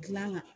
Gilanga